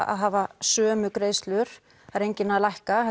að hafa sömu greiðslur það er enginn að lækka